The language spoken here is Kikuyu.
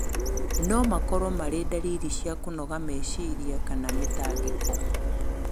no makorũo marĩ ndariri cia kũnoga meciria kana mĩtangĩko.